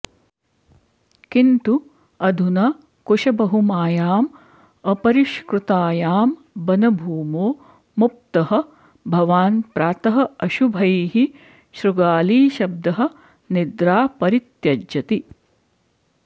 किन्तु अधुना कुशबहुमायां अपरिष्कृतायां बनभूमो मुप्तः भवान् प्रातः अशुभैः शृगालीशब्दः निद्रा परित्यजति